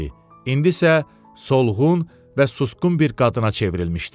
İndi isə solğun və susqun bir qadına çevrilmişdi.